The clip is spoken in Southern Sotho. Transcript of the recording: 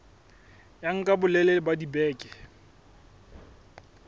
ya nka bolelele ba dibeke